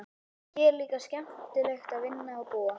Hér er líka skemmtilegt að vinna og búa.